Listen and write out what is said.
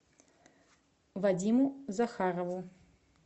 вадиму захарову